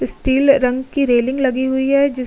steel रंग की railing लगी हुई है जिस --